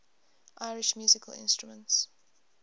irish musical instruments